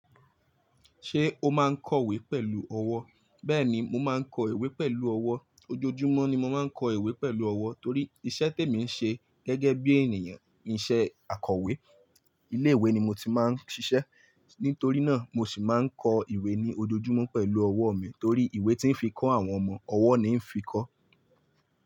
Ṣé o máa ń kọ̀wé pẹ̀lú ọwọ́? Bẹ́ẹ̀ni, mo máa ń kọ ìwé pẹ̀lú ọwọ́. Ojoojúmọ́ ni mo máa ń kọ ìwé pẹ̀lú ọwọ́ torí iṣẹ́ tèmi ń ṣe gẹ́gẹ́ bí ènìyàn, iṣẹ́ akọ̀wé ilé ìwé ni mo ti máa ń ṣiṣẹ́. Nítorí náà, mo sì máa ń kọ ìwé ní ojoojúmọ́ pẹ̀lú ọwọ́ mi torí ìwé tí ń fi kọ́ àwọn ọmọ, ọwọ́ ni ń fi kọ́